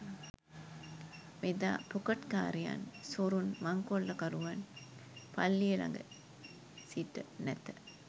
එදා පොකට්කාරයන් සොරුන් මංකොල්ලකරුවන් පල්ලිය ළඟ සිට නැත